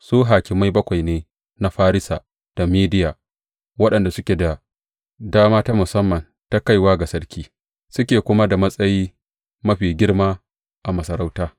Su hakimai bakwai ne na Farisa da Mediya waɗanda suke da dama ta musamman ta kaiwa ga sarki, suke kuma da matsayi mafi girma a masarautar.